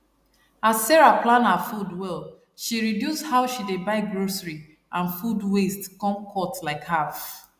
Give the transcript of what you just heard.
as sarah plan her food well she reduce how she dey buy grocery and food waste come cut like half